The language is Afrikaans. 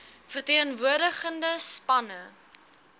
ver teenwoordigende spanne